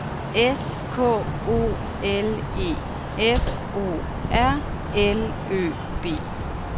S K O L E F O R L Ø B